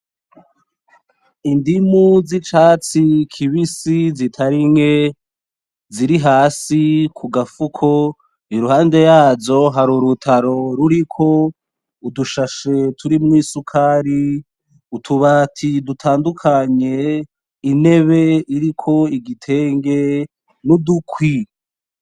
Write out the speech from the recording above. Indimu z'icatsi kibisi zitari nke ziri hasi ku gafuko iruhande yazo hari urutaro ruriko udushashe turimwo isukari utubati dutandukanye intebe iriko igitenge n'udukwi.